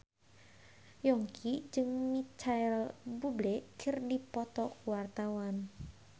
Yongki jeung Micheal Bubble keur dipoto ku wartawan